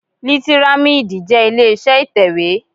Lítírámídì jẹ́ ilé iṣẹ́ ìtẹ̀wé